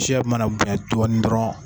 Siya min mana bonya dɔɔnin dɔɔrɔn